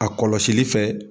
A kɔlɔsili fɛ.